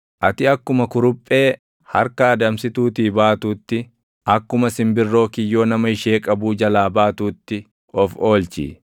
Ati akkuma kuruphee harka adamsituutii baatuutti, akkuma simbirroo kiyyoo nama ishee qabuu jalaa baatuutti of oolchi.